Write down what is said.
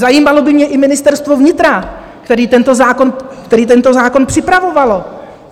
Zajímalo by mě i Ministerstvo vnitra, které tento zákon připravovalo.